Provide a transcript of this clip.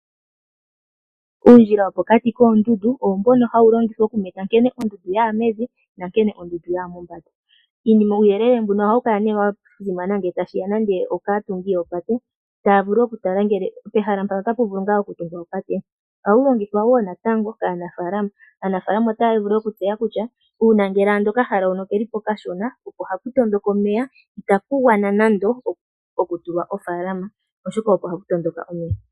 Uundjila wopokati koondundu owo mbono hawu longithwa okumeta nkene ondundu yaya mevi nankene ondundu yaya mombanda. Uuyelele mbuno ohawu kala wa simana ngele tashiya kaatungi yoopate ,taya vulu okutala ngele pehala otapu vulu ngaa okutungwa opate. Ohawu longithwa woo natango kaanafaalama . Aanafaalama otaya vulu okutseya kutya uuna ngele okahala okelipo okashona opo hapu matuka omeya, itapu vulu nande okutula ofaalama oshoka ohapu matuka omeya.